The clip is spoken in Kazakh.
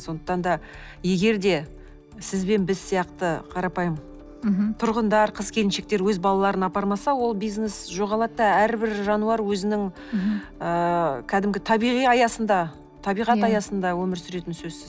сондықтан да егерде сіз бен біз сияқты қарапайым мхм тұрғындар қыз келіншектер өз балаларын апармаса ол бизнес жоғалады да әрбір жануар өзінің ыыы кәдімгі табиғи аясында табиғат аясында өмір сүретіні сөзсіз